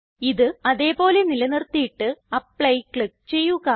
ഇത് അതേ പോലെ നിലനിർത്തിയിട്ട് ആപ്ലി ക്ലിക്ക് ചെയ്യുക